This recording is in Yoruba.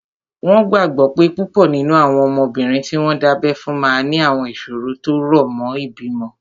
Wọ́n gbàgbọ́ pé púpọ̀ nínú àwọn ọmọbìnrin tí wọ́n dábẹ́ fún máa ní àwọn ìṣòro tó rọ̀ mọ́ ìbímọ